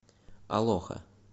алоха